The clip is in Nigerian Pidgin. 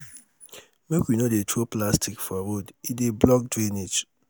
make we no dey throw plastic for road e dey block drainage